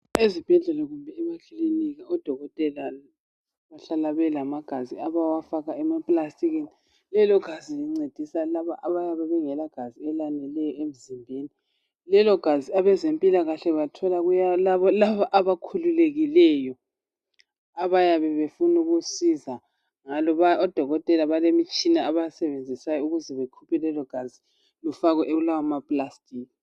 Ezibhedlela kumbe emakilinika odokotela kuhlala kulegazi abawafaka emaplastikini. Lelogazi lencedisa labo abayabe bengelagazi elaneleyo emzimbeni. Lelogazi abezempilakahle balithola kulabo abakhululekileyo abayabe befuna ukusiza aluba odokotela balemitshina abayisebenzisayo ukuze bakhuphe lelogazi lifakwe kulawa maplastiki.